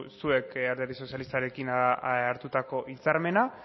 zuek alderdi sozialistarekin hartutako hitzarmena